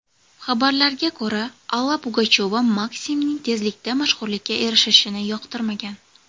Xabarlarga ko‘ra, Alla Pugachyova Maksimning tezlikda mashhurlikka erishishini yoqtirmagan.